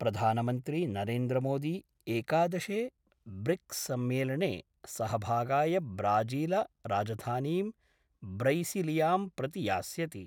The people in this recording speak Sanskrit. प्रधानमन्त्री नरेन्द्रमोदी एकादशे ब्रिक्ससम्मेलने सहभागाय ब्राजीलराजधानीं ब्रैसिलियां प्रति यास्यति।